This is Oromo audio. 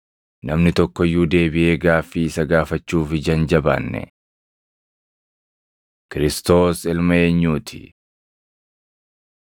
Namni tokko iyyuu deebiʼee gaaffii isa gaafachuuf ija hin jabaanne. Kiristoos Ilma Eenyuu ti? 20:41‑47 kwf – Mat 22:41–23:7; Mar 12:35‑40